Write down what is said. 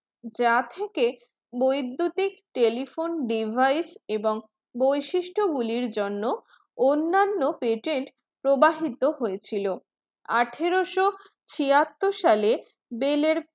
যার থেকে বৈদ্যুতিক telephone device এবং বৈশিষ্ট গুলির জন্য অন্যান্য patent প্রবাহিত হয়েছিল আঠারোশো ছিয়াত্তর সালে বেল্